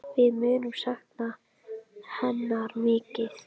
Við munum sakna hennar mikið.